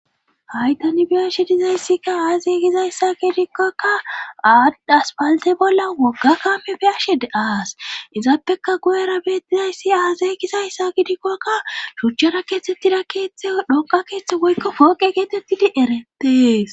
Haytanibiyashe dizayssika aazey gizayssa gidikkokka aaddaspalte bolla wogga kamebiyashe de7aas izaappeka guyera beettizayssi aazey gizayssa gidikkokka shuchchara keeththettida keeththe dhonqa keeththe goykko pooqe geetettidi eretees